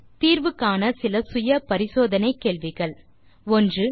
நீங்கள் தீர்வு காண இதோ சில செல்ஃப் அசெஸ்மென்ட் கேள்விகள் 1